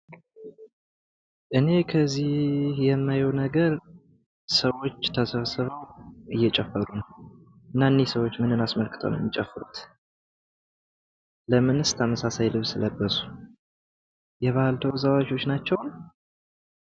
እኔ ከዚህ የማየው ነገር ሰዎች ተሰብስበው እየጨፈሩ ነው። እና እነዚህ ሰዎች ምንን አስመልክተው ነው የሚጨፍሩት? ለምንስ ተመሳሳይ ልብስ ለበሱ? የባህል ተወዛዋዧች ናቸው?